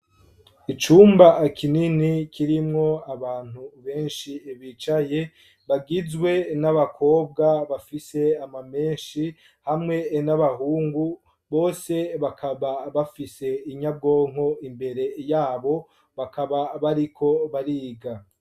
Icumba kinini kirimwo abantu benshi bicaye bagizwe n'abakobwa bafise ama menshi hamwe n'abahungu bose bakaba bafise inyabwonko imbere yabo bakaba bariko bariga.